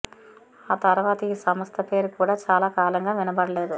ఆ తర్వాత ఈ సంస్థ పేరు కూడా చాలా కాలంగా వినబడలేదు